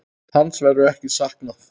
Hans verður ekki saknað.